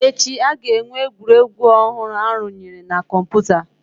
Echi, a ga-enwe egwuregwu ọhụrụ arụnyere na kọmpụta